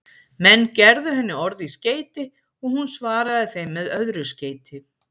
Menn gerðu henni orð í skeyti og hún svaraði þeim með öðru skeyti.